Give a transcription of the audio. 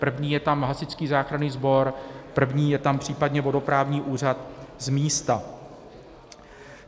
První je tam Hasičský záchranný sbor, první je tam případně vodoprávní úřad z místa.